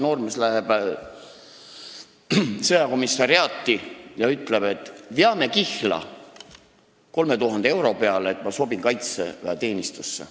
Noormees läheb sõjakomissariaati ja ütleb, et veame 3000 euro peale kihla, et ma sobin kaitseväeteenistusse.